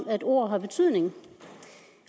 at ordene har en betydning